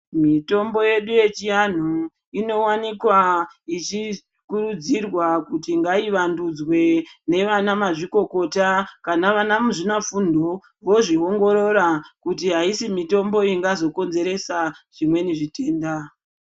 Mitombo yedu yechianhu inowanikwa ichikurudzirwa kuti ngaivandudzwe ngevana mazvikokota vana muzvina fundo vozviongorora kuti aisi mitombo ingazokonzeresa zvimweni zvitenda.